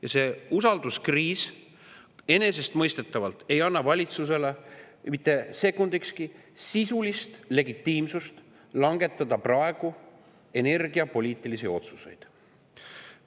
Ja see usalduskriis enesestmõistetavalt ei anna valitsusele mitte sekundikski sisulist legitiimsust langetada praegu energiapoliitilisi otsuseid.